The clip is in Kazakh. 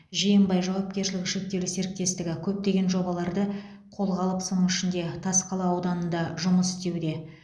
жиенбай жауапкершілігі шектеулі серіктестігі көптеген жобаларды қолға алып соның ішінде тасқала ауданында жұмыс істеуде